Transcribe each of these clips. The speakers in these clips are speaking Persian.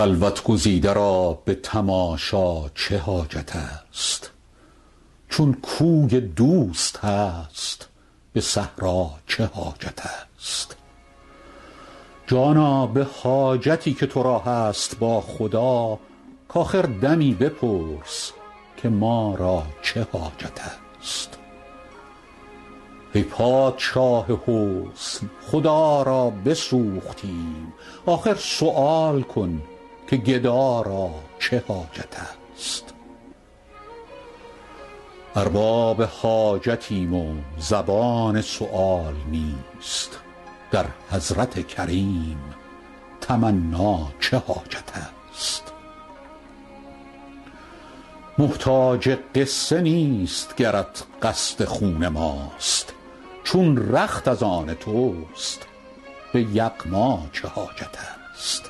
خلوت گزیده را به تماشا چه حاجت است چون کوی دوست هست به صحرا چه حاجت است جانا به حاجتی که تو را هست با خدا کآخر دمی بپرس که ما را چه حاجت است ای پادشاه حسن خدا را بسوختیم آخر سؤال کن که گدا را چه حاجت است ارباب حاجتیم و زبان سؤال نیست در حضرت کریم تمنا چه حاجت است محتاج قصه نیست گرت قصد خون ماست چون رخت از آن توست به یغما چه حاجت است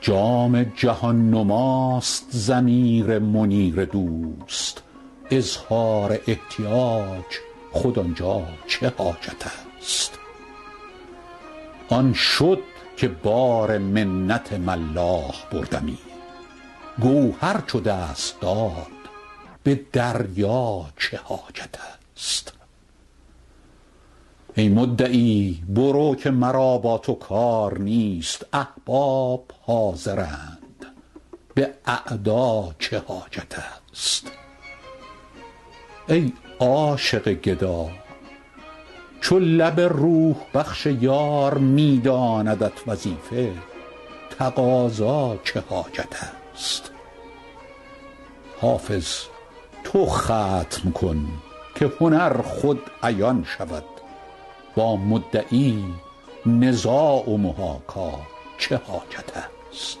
جام جهان نماست ضمیر منیر دوست اظهار احتیاج خود آن جا چه حاجت است آن شد که بار منت ملاح بردمی گوهر چو دست داد به دریا چه حاجت است ای مدعی برو که مرا با تو کار نیست احباب حاضرند به اعدا چه حاجت است ای عاشق گدا چو لب روح بخش یار می داندت وظیفه تقاضا چه حاجت است حافظ تو ختم کن که هنر خود عیان شود با مدعی نزاع و محاکا چه حاجت است